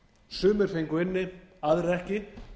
sumir fengu inni aðrir ekki